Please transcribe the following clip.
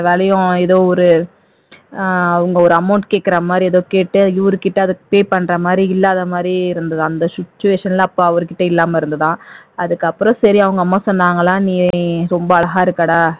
அந்த வேலையும் ஏதோ ஒரு ஆஹ் உங்க ஒரு amount கேட்கிற மாதிரி ஏதோ கேட்டு இவர்கிட்ட அதை pay பண்ற மாதிரி இல்லாத மாதிரி இருந்தது அந்த situation ல அப்ப அவர்கிட்ட இல்லாம இருந்ததா அதுக்கு அப்புறம் சரி அவங்க அம்மா சொன்னாங்களாம் நீ ரொம்ப அழகா இருக்கடா